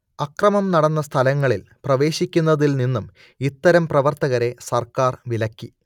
അക്രമം നടന്ന സ്ഥലങ്ങളിൽ പ്രവേശിക്കുന്നതിൽ നിന്നും ഇത്തരം പ്രവർത്തകരെ സർക്കാർ വിലക്കി